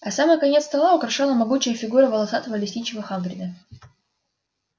а самый конец стола украшала могучая фигура волосатого лесничего хагрида